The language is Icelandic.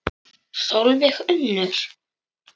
Sólveig Unnur.